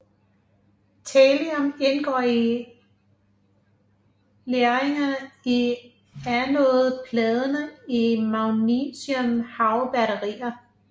Thallium indgår i legeringen i anodepladerne i magnesiumhavbatterier